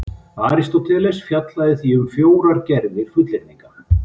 Aristóteles fjallaði því um fjórar gerðir fullyrðinga: